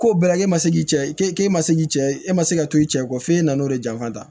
K'o bɛɛ la k'e ma se k'i cɛ ye k'e k'e ma se k'i cɛ e ma se ka to i cɛ kɔ f'e nan'o de janfa